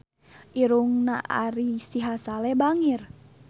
Irungna Ari Sihasale bangir